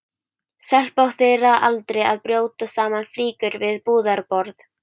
Stelpa á þeirra aldri að brjóta saman flíkur við búðarborð.